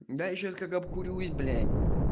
да ещё как обдурить блять